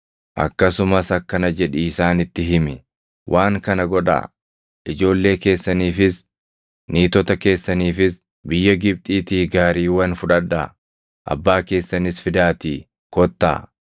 “Akkasumas akkana jedhii isaanitti himi; ‘Waan kana godhaa: Ijoollee keessaniifis, niitota keessaniifis biyya Gibxiitii gaariiwwan fudhadhaa; abbaa keessanis fidaatii kottaa.